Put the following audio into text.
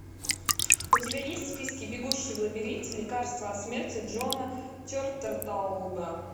у тебя есть в списке бегущий в лабиринте лекарство от смерти джона тертлтауба